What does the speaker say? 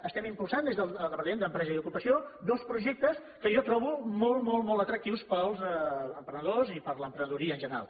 estem impulsant des del departament d’empresa i ocupació dos projectes que jo trobo molt molt molt atractius per als emprenedors i per a l’emprenedoria en general